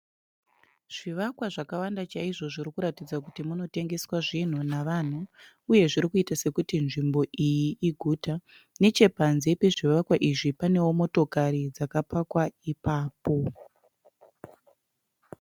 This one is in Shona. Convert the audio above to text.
Zvivakwa zvakawanda chaizvo zvirikuratidza kuti munotengeswa zvinhu navanhu uye zvirikuita sekuti nzvimbo iyi iguta. Nechepanze pezvivakwa izvi panewo motokari dzakapakwa ipapo.